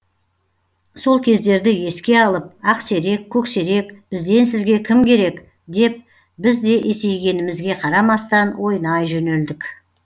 сол кездерді еске алып ақсерек көксерек бізден сізге кім керек деп біз де есейгенімізге қарамастан ойнай жөнелдік